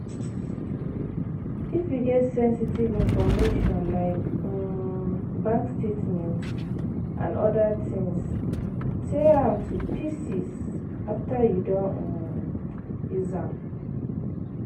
If you get sensitive information like um bank statement and oda things, tear am to pieces after you don um use am